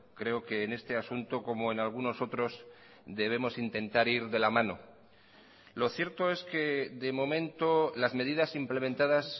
creo que en este asunto como en algunos otros debemos intentar ir de la mano lo cierto es que de momento las medidas implementadas